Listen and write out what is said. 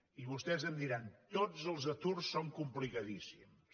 i vostès em diran tots els aturs són complicadíssims